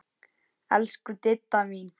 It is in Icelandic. Elsku Didda mín.